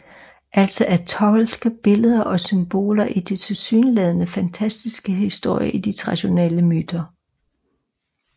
Altså at tolke billeder og symboler i de tilsyneladende fantastiske historier i de traditionelle myter